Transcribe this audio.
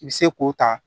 I bɛ se k'o ta